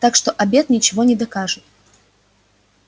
так что обед ничего не докажет